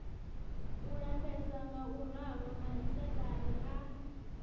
u lapfesa ngauralo maisaṱari a